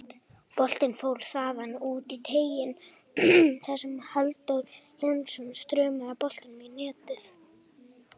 Boltinn fór þaðan út í teiginn þar sem Halldór Hilmisson þrumaði boltanum í netið.